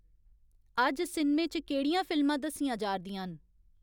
अज्ज सिनमे च केह्ड़ियां फिल्मां दस्सियां जा'रदियां न